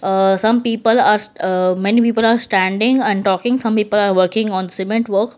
aah some people are aa many people are standing and talking some people are working on cement work.